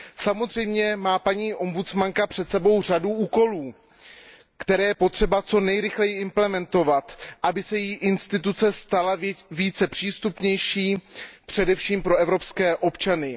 Samozřejmě má paní ombudsmanka před sebou řadu úkolů, které je potřeba co nejrychleji implementovat, aby se její orgán stal přístupnější především pro evropské občany.